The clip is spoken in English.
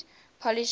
polish soviet war